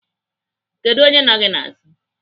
Kedụ onye nọ gị n'azụ?